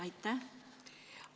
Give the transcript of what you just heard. Aitäh!